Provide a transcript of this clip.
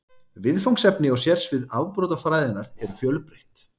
Viðfangsefni og sérsvið afbrotafræðinnar eru fjölbreytt.